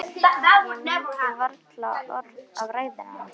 Ég mundi varla orð af ræðunni hans.